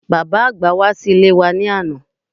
Bàbá-àgbà wá sí ilé wa ní àná